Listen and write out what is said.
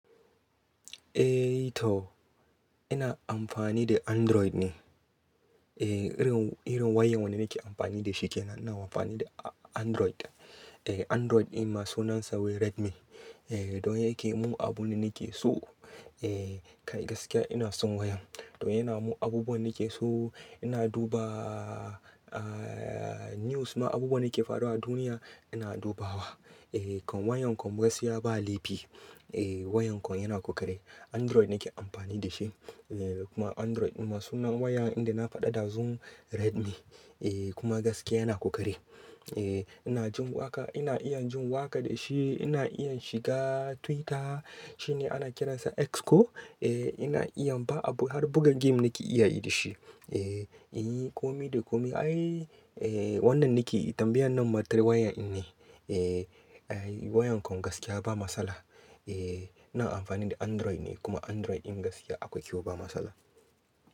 Eh to ina amfani da Android ne. Eh irin, irin wayan wanda nake amfani da shi kenan ina amfani da Android. Eh Android ɗin masu sunansa wai Redmi. Eh don yake yi mun abun da nake so. Eh kai gaskiya ina son wayan. Don yana mun abubuwan nake so. Ina duba, ah news ma abubuwan da ke faruwa a duniya ina dubawa. Eh kan wayan kan gaskiya ba laifi. Eh wayan kan yana ƙoƙari. Android nake amfani da shi. Eh kuma Android masu na wayan inda na faɗa ɗazun Redmi. Eh kuma gaskiya yana ƙoƙari. Eh ina jin waƙa, ina iya jin waƙa da shi, ina iya shiga Twitter shine ana kiransa X ko? Eh ina iya ba abu har buga game nake iya yi da shi. Eh, inyi komi da komi ai. Eh wannan nake yi tambayan nan matar wayan ɗin ne. Eh ai wayan kan gaskiya ba matsala. Eh ina amfani da Android ne kuma Android ɗin gaskiya akwai kyau ba matsala.